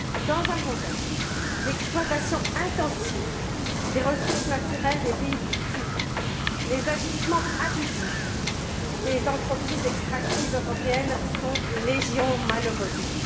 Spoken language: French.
Dans un contexte d'exploitation intensive des ressources naturelles des pays du Sud, les agissements abusifs des entreprises extractives européennes sont légion, malheureusement.